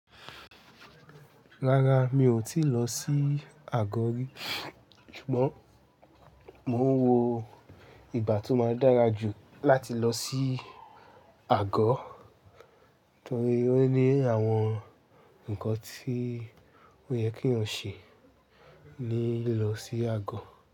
Rárá mi ò tíì lọ sí Àgọ́ rí, ṣùgbọ́n mò ń wo ìgbà tó máa dára jù láti lọ sí Àgọ́, torí ó ní àwọn ǹkan tí ó yẹ kí n ṣe ní lọ sí Àgọ́